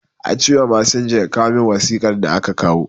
A ce da masinja, ya kawo min wasiƙar da aka kawo